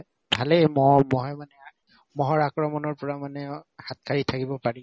ভালেই মহ মহে মানে মহৰ আক্ৰমণৰ পৰা মানে অ হাত সাৰি থাকিব পাৰি